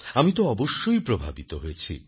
আমি তো অবশ্যই প্রভাবিত হয়েছি